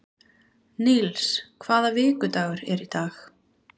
Níls, hvaða vikudagur er í dag?